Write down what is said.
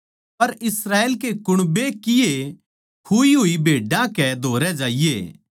पर इस्राएल के कुण्बे की ए खुई होड़ी भेड्डां के धोरै जाइये